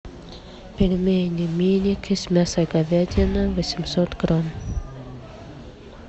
пельмени миники с мясом говядины восемьсот грамм